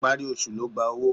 Ìparí oṣù ló gba owó.